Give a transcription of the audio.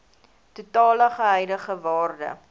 totale huidige waarde